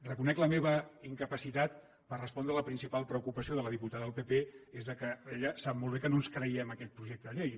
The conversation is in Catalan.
reconec la meva incapacitat per respondre a la principal preocupació de la diputada del pp que és que ella sap molt bé que no ens creiem aquest projecte de llei